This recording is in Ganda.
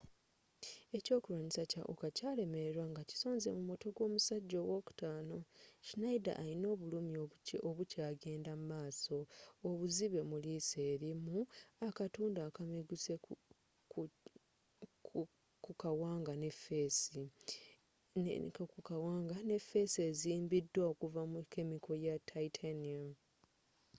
ekyokulwanyisa kya uka kyalemererwa ngakisonze mu mutwe gwomusajja owokutaano schneider alina obulumi obukyagenda mumaaso obuzibe mu liiso erimu akatundu akameguse kukawanga nefeesi ezimbiddwa okuva mu kemiko ya titanium